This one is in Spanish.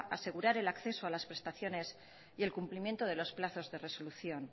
asegurar el acceso a las prestaciones y el cumplimiento de los plazos de resolución